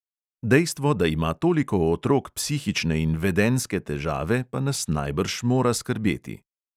Dejstvo, da ima toliko otrok psihične in vedenjske težave, pa nas najbrž mora skrbeti.